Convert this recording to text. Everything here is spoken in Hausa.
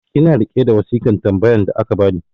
ina riƙe da wasikan tambayan da aka bani